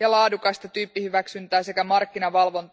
ja laadukasta tyyppihyväksyntää sekä markkinavalvontaa.